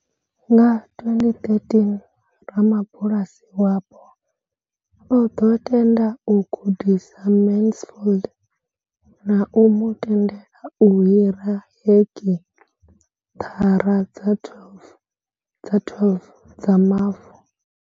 Nga 2013, ramabulasi wapo o ḓo tenda u gudisa Mansfield na u mu tendela u hira hekithara dza 12 dza mavu.